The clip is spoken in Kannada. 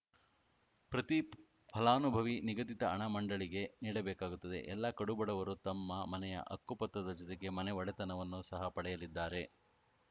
ಪ್ರತಿ ಫಲಾನುಭವಿ ನಿಗದಿತ ಹಣ ಮಂಡಳಿಗೆ ನೀಡಬೇಕಾಗುತ್ತದೆ ಎಲ್ಲ ಕಡುಬಡವರು ತಮ್ಮ ಮನೆಯ ಹಕ್ಕು ಪತ್ರದ ಜೊತೆಗೆ ಮನೆ ಒಡೆತನವನ್ನು ಸಹ ಪಡೆಯಲಿದ್ದಾರೆ